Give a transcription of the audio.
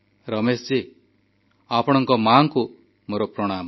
ରମେଶ ଜୀ ଆପଣଙ୍କ ମାଙ୍କୁ ମୋର ପ୍ରଣାମ